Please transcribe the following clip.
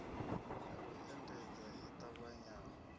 ya u endedza i ṱavhanyaho